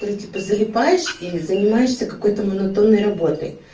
второй типа залипаешь и занимаешься какой-то монотонной работой